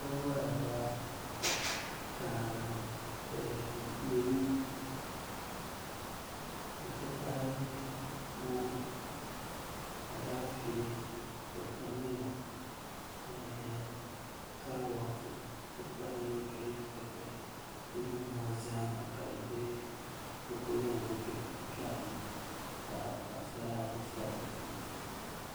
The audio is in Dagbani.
Binwola daa ka leemu n ti pahi moongu Alaafee wotamilo ni kaaroti n ti pahi giriin pɛpɛ din nim maa zaaha ka bi ku zaŋli duhi piɛri ni ka paɣasara ayi shab di sunsuuni